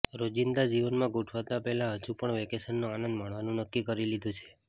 રોજિંદા જીવનમાં ગોઠવાતા પહેલા હજુ પણ વેકેશનનો આનંદ માણવાનું નક્કી કરી લીધું છે